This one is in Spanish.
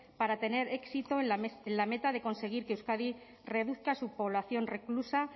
para tener éxito en la meta de conseguir que euskadi reduzca su población reclusa